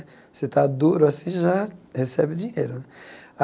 Você está duro assim, já recebe o dinheiro.